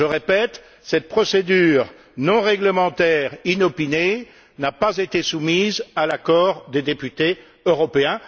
Je répète Cette procédure non réglementaire inopinée n'a pas été soumise à l'accord des députés européens.